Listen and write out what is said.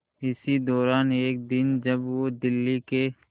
इसी दौरान एक दिन जब वो दिल्ली के